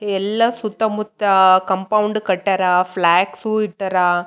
ಈ ಚಿತ್ರದಲ್ಲಿ ಆಕಾಶ ಭೂದಿ ಮತ್ತು ಬಿಳಿಯ ಬಣ್ಣದಲ್ಲಿ ಇದೆ. ಇಲ್ಲಿ ಒಂದ ದೊಡ್ಡ ಸಂಯುಕ್ತ ಇದೆ.